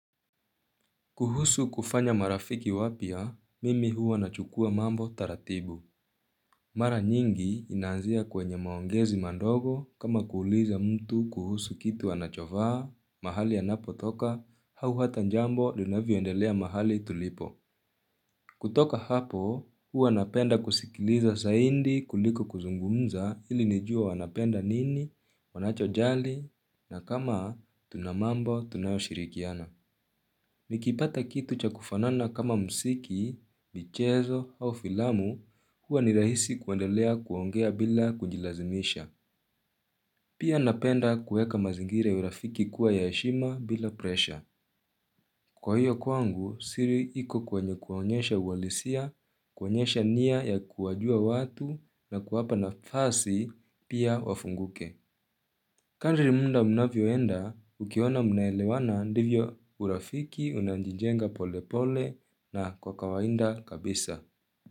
Kuhusu kufanya marafiki wapya, mimi hua nachukua mambo taratibu. Mara nyingi inaanzia kwenye maongezi mandogo kama kuuliza mtu kuhusu kitu anachovaa, mahali anapo toka, hau hata njambo linavyo endelea mahali tulipo. Kutoka hapo, hua napenda kusikiliza zaindi kuliko kuzungumza ili nijue anapenda nini wanacho jali na kama tunamambo tunayo shirikiana. Nikipata kitu cha kufanana kama msiki, michezo au filamu huwa ni rahisi kuendelea kuongea bila kujilazimisha Pia napenda kueka mazingira ya urafiki kuwa ya heshima bila presha Kwa hiyo kwangu siri iko kwenye kuonyesha uhalisia, kuonyesha nia ya kuwajua watu na kuwapa na fasi pia wafunguke Kandiri munda mnafyoenda, ukiona mnaelewana ndivyo urafiki, unanjinjenga pole pole na kwa kawainda kabisa.